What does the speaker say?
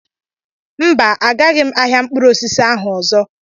Mba, agaghị m ahịa mkpụrụosisi ahụ ọzọ